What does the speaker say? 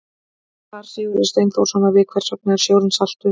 Svar Sigurðar Steinþórssonar við Hvers vegna er sjórinn saltur?